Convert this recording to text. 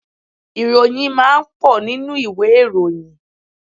Ìròyìn máa ń pọ̀ nínú ìwé ìròyìn.